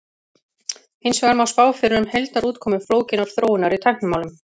Hins vegar má spá fyrir um heildarútkomu flókinnar þróunar í tæknimálum.